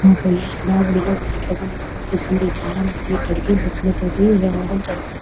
హడావిడిగా ఉన్నట్లు మనకు తెలుస్తుంది ఇక్కడ చాలామంది ముక్కుల తోటి రావడం జరిగింది.